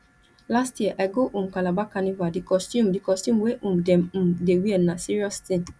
last year i go um calabar carnival di costume di costume wey um dem um dey wear na serious tin